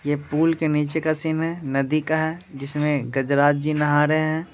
ये पुल के नीचे का है नदी का है जिसमें गजराज जी नहा रहे हैं।